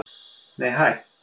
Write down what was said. Nei hæ!